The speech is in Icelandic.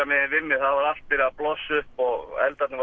megin við mig það var allt byrjað að blossa upp og eldarnir